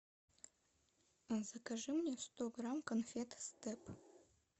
закажи мне сто грамм конфет степ